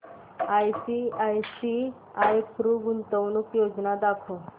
ICICI Pru गुंतवणूक योजना दाखव